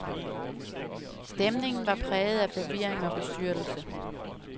Stemningen var præget af forvirring og bestyrtelse.